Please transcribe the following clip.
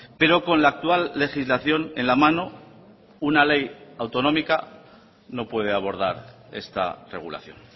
pero con la actual legislación en la mano una ley autonómica no puede abordar esta regulación